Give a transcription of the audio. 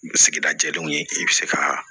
Sigida jɛlenw ye i bɛ se ka